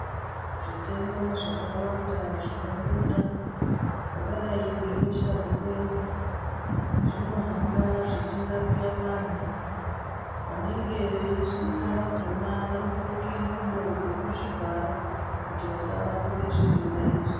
Zvitenda zvakawanda zvinobuda zvakadai ngebesha mupengo zvinohamba zvichirapa vantu vanenge veizvita vakona vanopfeke ngubo dzekuzvi vhara kuti vasabatira zvitenda izvi.